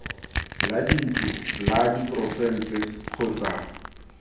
la dintlo la porofense kgotsa